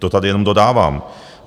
To tady jenom dodávám.